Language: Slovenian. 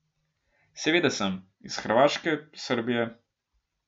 Seveda sem, iz Hrvaške, Srbije ...